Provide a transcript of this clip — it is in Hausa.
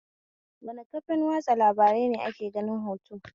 Wane kafan watsa labarai ne ake ganin hoto?